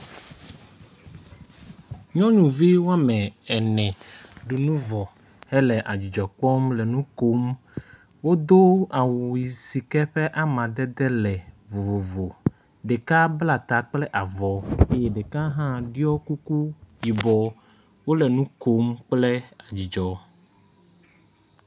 Nyɔnuvi wɔme ene ɖu nu vɔ hele adzidzɔ kpɔm le nu kom. Wodo awu si ke ƒe amadede le vovo. Ɖeka bla ta kple avɔ eye ɖeka hã ɖɔ kuku yibɔ. Wo le nu kom kple dzidzɔ.